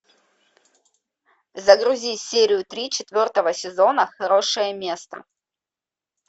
загрузи серию три четвертого сезона хорошее место